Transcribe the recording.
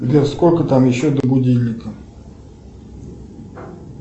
сбер сколько там еще до будильника